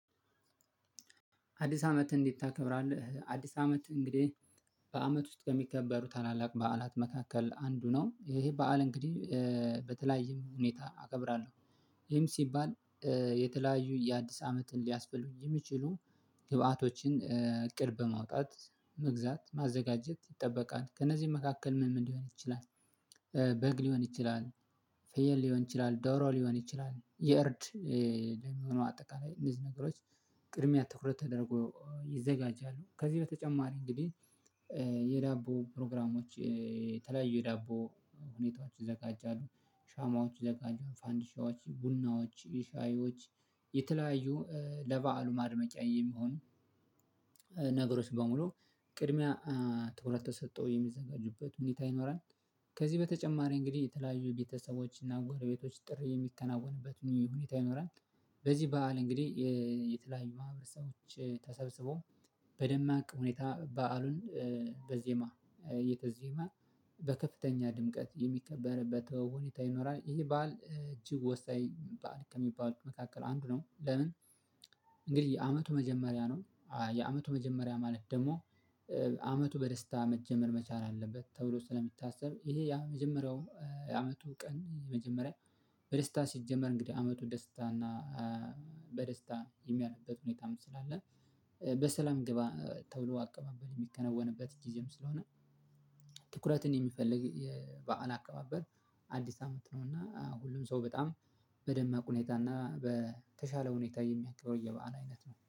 አዲስ አመት እንዴት ታከብራለህ? አዲስ አመት እንግዲህ በአመት ውስጥ ከሚከበሩ ታላላቅ በዓላት መካከል አንዱ ነው ይሄ በዓል እንግዲህ በተለያየም ሁኔታ አከብራለሁ። ይህም ሲባል የተለያዩ የአዲስ አመትን ሊያስፈልጉ የሚችሉ ግብአቶችን እቅድ በማውጣት መግዛት ማዘጋጀት ይጠበቃል ከእነዚህ መካከል ምን ምን ሊሆን ይችላል? በግ ሊሆን ይችላል ፍየል ሊሆን ይችላል ዶሮ ሊሆን ይችላል የእርድ ደግሞ አጠቃላይ እንደዚህ ነገሮች ቅድሚያ ትኩረት ተደርጎ ይዘጋጃሉ። ከዚህ በተጨማሪ እንግዲህ የዳቦ ፕሮግራሞች ተለያዩ የተለያዩ ዳቦ ሁኔታዎች ይዘጋጃሉ ሻማዎች ይዘጋጃሉ ፋንዲሻዎች ቡናዎች ሻሂዮች የተለያዩ ለበዓሉ ማድመቂያ የሚሆን ነገሮች በሙሉ ቅድሚያ ትኩረት ተሰጥቶ የሚዘጋጁበት ሁኔታ ይኖራል። ከዚህ በተጨማሪ እንግዲህ የተለያዩ ቤተሰቦች እና ጎረቤቶች ጥሪ የሚከናወንበትን ሁኔታ ይኖራል። በዚህ በዓል እንግዲህ የተለያዩ ማህበረሰቦች ተሰብስቦ በደማቅ ሁኔታ በዓሉን በዜማ እየተዜመ በከፍተኛ ድምቀት የሚከበርበት ሁኔታ ይኖራል። ይሄ በዓል እጅግ ወሳኝ በዓል ከሚባሉት መካከል አንዱ ነው። ለምን? እንግዲህ የአመቱ መጀመሪያ ነው የአመቱ መጀመሪያ ማለት ደግሞ አመቱ በደስታ መጀመር መቻል አለበት። ተብሎ ስለሚታሰብ ይሄ ያ መጀመሪያው የአመቱ ቀን መጀመሪያ በደስታ ሲጀመር እንግዲህ አመቱ ደስታ እና በደስታ የሚያልፍበት ሁኔታ ስላለ። በሰላም ግባ ተብሎ አቀባበል የሚከነወንበት ጊዜም ስለሆነ። ትኩረትን የሚፈልግ የበአል አካባበር አዲስ አመት ነው። እና ሁሉም ሰው በጣም በደማቅ ሁኔታ እና በተሻለ ሁኔታ የሚያከብረው የበአል አይነት ነው